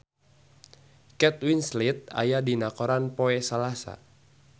Kate Winslet aya dina koran poe Salasa